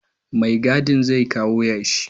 Mai gadin zai kawo yashi